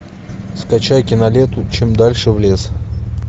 скачай киноленту чем дальше в лес